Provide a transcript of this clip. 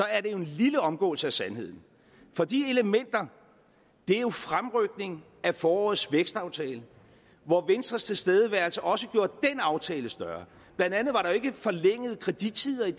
er det jo en lille omgåelse af sandheden for de elementer er jo fremrykningen af forårets vækstaftale hvor venstres tilstedeværelse også gjorde den aftale større blandt andet var der jo ikke forlængede kredittider